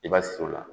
I b'a si o la